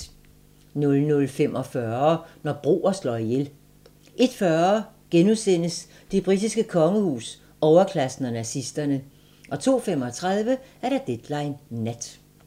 00:45: Når broer slår ihjel 01:40: Det britiske kongehus, overklassen og nazisterne * 02:35: Deadline Nat